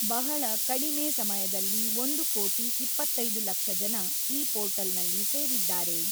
ಬಹಳ ಕಡಿಮೆ ಸಮಯದಲ್ಲಿ ಒಂದು ಕೋಟಿ ಇಪ್ಪತ್ತೈದು ಲಕ್ಷ ಜನ ಈ ಪೋರ್ಟಲ್‌ನಲ್ಲಿ ಸೇರಿದ್ದಾರೆ.